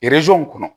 kɔnɔ